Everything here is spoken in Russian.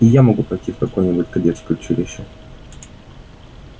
и я могу пойти в какое-нибудь кадетское училище